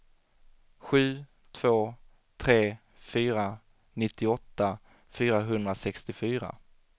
sju två tre fyra nittioåtta fyrahundrasextiofyra